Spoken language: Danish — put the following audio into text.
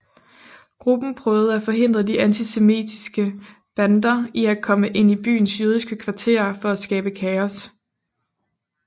Gruppen prøvede at forhindre de antisemitiske bander i at komme ind i byens jødiske kvarterer for at skabe kaos